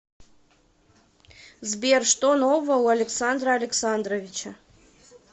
сбер что нового у александра александровича